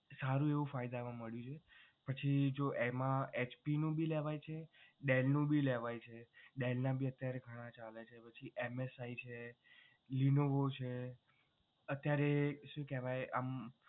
સારું એવું ફાયદામાં મળ્યું છે પછી જો એમા HP નું ભી લેવાય છે Dell નું ભી લેવાય છે. Dell ભી અત્યારે ઘણા ચાલે છે પછી MSI છે lenovo છે ત્યારે શું કેહવાય આમ